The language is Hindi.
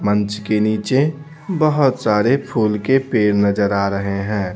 मंच के नीचे बहुत सारे फूल के पेड़ नजर आ रहे हैं।